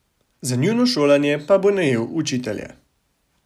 Za njuno šolanje pa bo najel učitelje.